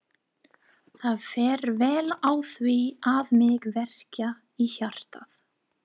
Það fer vel á því að mig verkjar í hjartað.